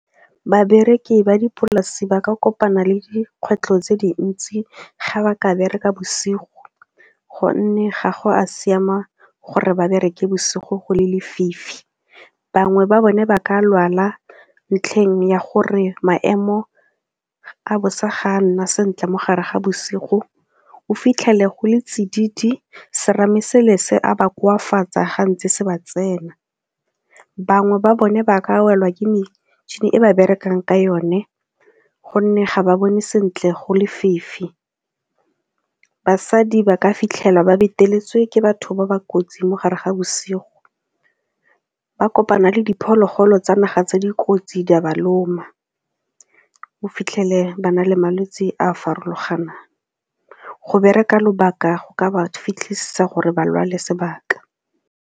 Babereki ba dipolase ba kopana le dikgwetlho tse dintsi ga ba ka bereka bosigo gonne ga go a siama gore ba bereke bosigo go le lefifi, bangwe ba bone ba ka lwala ntlheng ya gore maemo a bosa ga a nna sentle mo gare ga bosigo o fitlhele go le tsididi serame se a ba koafatsa ga ntse se ba tsena. Bangwe ba bone ba ka welwa ke metšhini e ba berekang ka yone gonne ga ba bone sentle go lefifi, basadi ba ka fitlhela ba beteletswe ke batho ba ba kotsi mo gare ga bosigo, ba kopana le diphologolo tsa naga tse dikotsi di a ba loma, o fitlhele bana le malwetsi a a farologaneng, go bereka lobaka go ka ba fitlhisa gore ba lwale sebaka.